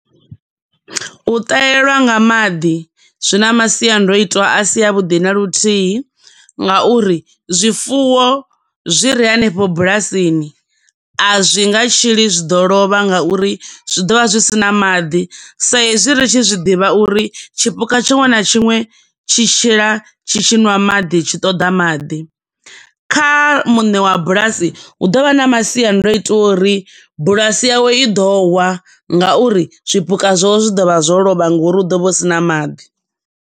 U ṱahelwa nga maḓi zwi na masiandoitwa a si a vhuḓi na luthihi nga uri zwifuwo zwi re hanefho bulasini, a zwinga tshili zwi ḓo lovha nga uri zwi ḓo vha zwi sina maḓi, sa izwi ri tshi zwi ḓivha zwa uri tshipuka tshiṅwe na tshiṅwe tshi tshila tshi tshiṅwa maḓi tshi ṱoḓa maḓi. Kha muṋe wa bulasi hu dovha na masiandoitwa a uri bulasi yawe i ḓo wa nga uri, zwipuka zwawe zwi ḓo vha zwo lovha ngo uri hu do vha hu sina maḓi.